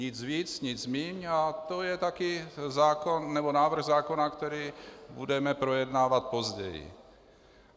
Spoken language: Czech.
Nic víc, nic méně a to je také návrh zákona, který budeme projednávat později.